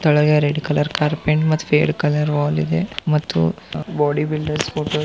ತಳಗೆ red colour carpet car ಮತ್ತೆ fade colour wall ಇದೆ ಮತ್ತು ಬೋಡಿ ಬಿಲ್ದರ್ ಫೋಟೋ --